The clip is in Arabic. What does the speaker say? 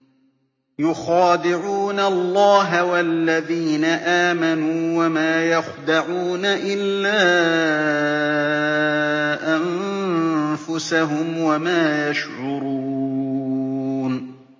يُخَادِعُونَ اللَّهَ وَالَّذِينَ آمَنُوا وَمَا يَخْدَعُونَ إِلَّا أَنفُسَهُمْ وَمَا يَشْعُرُونَ